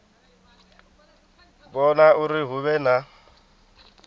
vhona uri hu vhe na